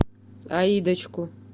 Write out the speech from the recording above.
аидочку